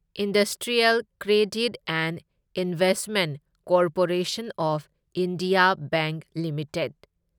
industrial credit and investment corporation of India bank limited